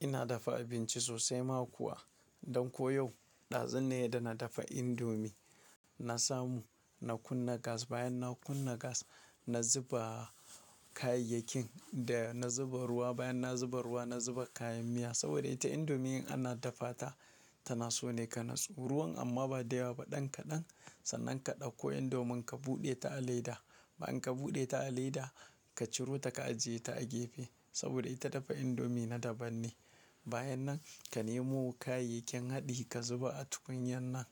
Ina dafa abinci sosai ma kuwa. Don ko yau, dazu ne da na dafa indomie. Na samu, na kunna gas. Bayan na kunna gas, na zuba kayayyakin da na zuba ruwa. Bayan na zuba ruwa, na zuba kayan miya. Saboda ita indomie in ana dafa ta, tana so ne ka naso ruwan amma ba da yawa ba. Ɗan kaɗan, sannan ka ɗauko indomin ka buɗe ta a leda. Bayan ka buɗe ta a leda, ka ciro ta ka ajiye ta a gefe. Saboda ita dafa indomie na daban ne. Bayan nan ka nemo kayayyakin haɗi ka zuba a tukunyan nan.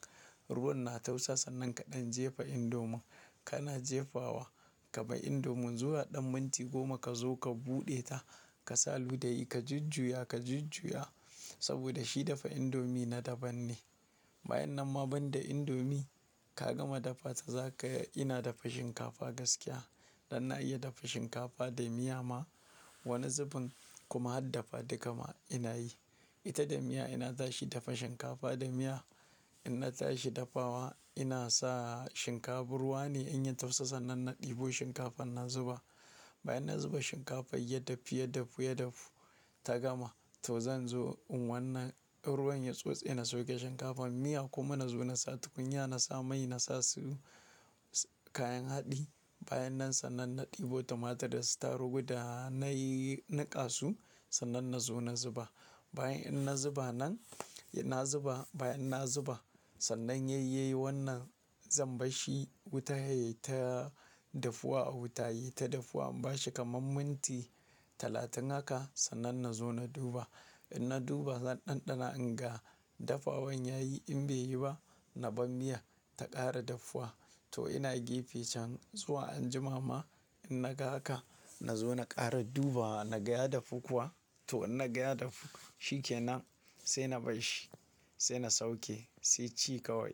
Ruwan na tausa sannan kaɗan jefa indomin. Kana jefawa, ka bar indomin zuwa ɗan minti goma ka zo ka buɗe ta. Ka sa ludayi ka jujjuya, ka jujjuya saboda shi dafa indomie na daban ne. Bayan nan ma banda indomie ka gama dafa ta, za ka-- ina dafa shinkafa gaskiya. Dan na iya dafa shinkafa da miya ma. Wani zubin kuma har dafa dukka ma ina yi. Ita da miya ina tashi dafa shinkafa da miya. In na tashi dafawa, ina sa shinkaf-- ruwa ne in ya tausa sannan na ɗebo shinkafan na zuba. Bayan na zuba shinkafan ya dafu, ya dafu, ya dafu ta gama. To zan zo in wannan ruwan ya tsotse ina sauke shinkafan. Miya kuma na zo na sa tukunya, na sa mai, na sa su kayan haɗi. Bayan nan sannan na ɗebo tumatur da su targu, da nayi niƙasu sannan na zo na zuba. Bayan in na zuba nan, ina zuba. Bayan na zuba, sannan yai wannan zan barshi wuta yayi ta dafuwa a wuta, yayi ta dafuwa in bashi kamar minti talatin haka sannan na zo na duba. In na duba zan ɗanɗana in ga dafawan yayi in bai yi ba, na bar miyan ta ƙara dafuwa. To ina gefe can zuwa anjima ma in na ga haka, na zo na ƙara dubawa na ga ya dafu kuwa. To in na ga ya dafu shikenan sai na bash shi, sai na sauke sai ci kawai.